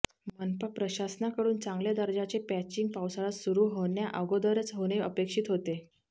मनपा प्रशासनाकडून चांगल्या दर्जाचे पॅचिंग पावसाळा सुरु होण्या अगोदरच होणे अपेक्षित होते